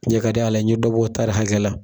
Cɛn ka di Ala ye n ɲe dɔbɔ tari hakɛla.